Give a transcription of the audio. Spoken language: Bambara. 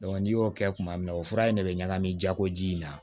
n'i y'o kɛ kuma min na o fura in de bɛ ɲagami jago ji in na